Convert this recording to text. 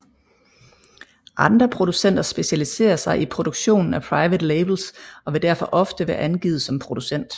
Andre producenter specialiserer sig i produktionen af private labels og vil derfor oftest være angivet som producent